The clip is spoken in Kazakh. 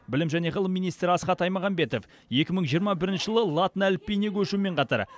білім және ғылым министрі асхат аймағамбетов екі мың жиырма бірінші жылы латын әліпбиіне көшумен қатар